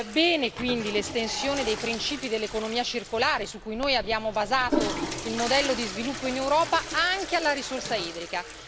Bene, quindi, l'estensione dei principi dell'economia circolare su cui noi abbiamo basato il modello di sviluppo in Europa, anche alla risorsa idrica.